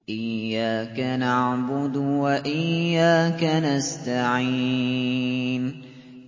إِيَّاكَ نَعْبُدُ وَإِيَّاكَ نَسْتَعِينُ